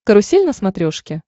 карусель на смотрешке